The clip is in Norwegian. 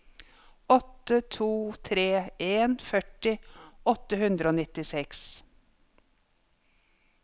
åtte to tre en førti åtte hundre og nittiseks